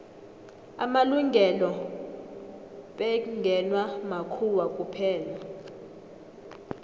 amalungelo bekngewa makhuwa kuphela